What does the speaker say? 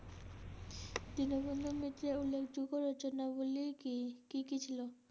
দীনবন্ধু মিত্রের উল্লেখযোগ্য রচনা গুলো কী? কী কী ছিল?